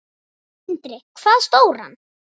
Sindri: Hvað stóran?